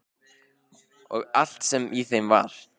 Og allt sem í þeim var.